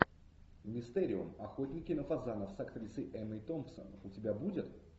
мистериум охотники на фазанов с актрисой эммой томпсон у тебя будет